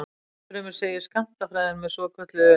Ennfremur segir skammtafræðin með svokölluðu